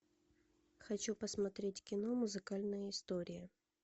хочу посмотреть кино музыкальная история